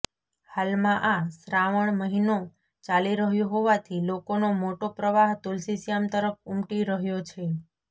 હાલમાં આ શ્રાાવણ મહિનો ચાલી રહ્યો હોવાથી લોકોનો મોટો પ્રવાહ તુલસીશ્યામ તરફ ઉમટી રહ્યો છે